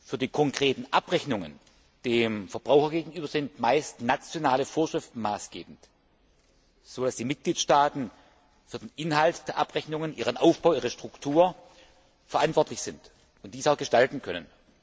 Für die konkreten Abrechnungen dem Verbraucher gegenüber sind meist nationale Vorschriften maßgebend, so dass die Mitgliedstaaten für den Inhalt der Abrechnungen, ihren Aufbau und ihre Struktur verantwortlich sind und diese auch gestalten können.